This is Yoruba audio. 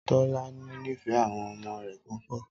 Tọ́lání nífẹ̀ẹ́ àwọn ọmọ rẹ̀ púpọ̀